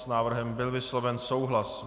S návrhem byl vysloven souhlas.